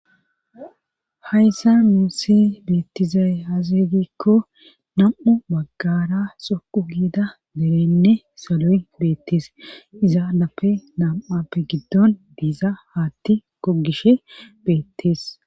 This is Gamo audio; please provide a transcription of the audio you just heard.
Hayssa muussi beettizay hasigikko nam7u baggara soqu giida derenne salo7y beettees iza nape nam7appe giddon diiza haatti kogishe beettees